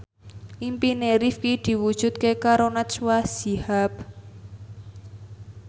impine Rifqi diwujudke karo Najwa Shihab